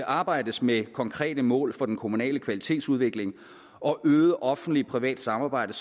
arbejde med konkrete mål for den kommunale kvalitetsudvikling og øget offentlig privat samarbejde